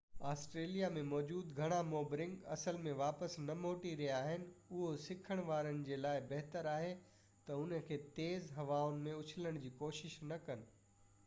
Australia ۾ موجود گهڻا boomerang اصل م واپس نہ موٽي رهيا آهن اهو سکڻ وارن جي لاءِ بهتر آهي تہ ان کي تيز هوائن ۾ اُڇلڻ جي ڪوشش نہ ڪن